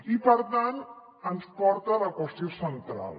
i per tant ens porta a la qüestió central